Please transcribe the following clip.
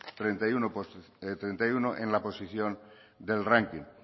treinta y uno en la posición del ranking